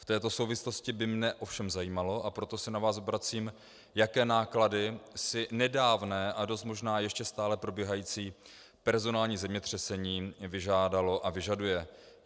V této souvislosti by mě ovšem zajímalo, a proto se na vás obracím, jaké náklady si nedávné a dost možná ještě stále probíhající personální zemětřesení vyžádalo a vyžaduje.